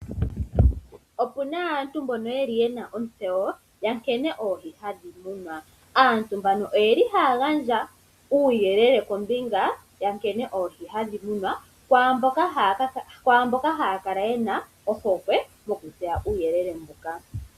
Ope na aantu mboka yena ontseyo ya nkene oohi hadhi munwa, aantu mbano oye li haya gandja uuyelele kombinga ya nkene oohi hadhi munwa kwaambyoka haya kala yena ohokwe yokutseya uuyelele mbuka.